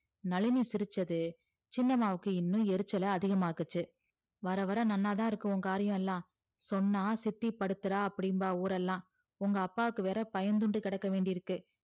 நளினி சிரிச்சது சின்னம்மாவுக்கு இந்நோ எரிச்சல அதிகம் ஆக்கிச்சி வர வர நன்னாதா இருக்கும் ஒ காரியோலா சொன்ன சித்தி படுத்துறா அப்டின்பா ஊரல்லா உங்க அப்பாக்கு வேற பயந்துன்ட்டு கெடக்க வேண்டி இருக்கு